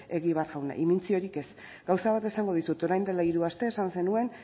egibar jauna imintziorik ez gauza bat esango dizut orain dela hiru aste esan zenuen